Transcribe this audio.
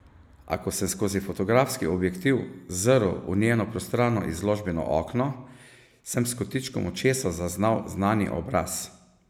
A ko sem skozi fotografski objektiv zrl v njeno prostrano izložbeno okno, sem s kotičkom očesa zaznal znani obraz.